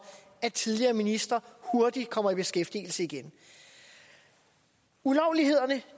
at tidligere ministre hurtigt kommer i beskæftigelse igen ulovlighederne